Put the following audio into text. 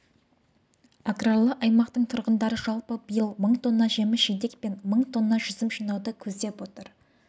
аграрлы аймақтың тұрғындары жалпы биыл мың тонна жеміс-жидек және мың тонна жүзім жинауды көздеп отыр